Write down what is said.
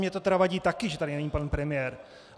Mně to tedy vadí také, že tady není pan premiér.